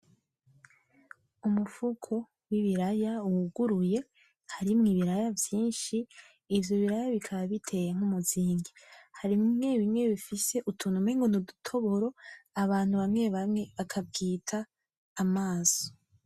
Umufuko w'ibiraya wuguruye harimo ibiraya vyinshi ivyo biraya bikaba biteye nk'umuzingi. Harimo bimwe bimwe bifise utuntu umengo nudutoboro abantu bamwe bamwe bakabwita amaso.